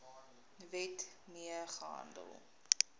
wet mee gehandel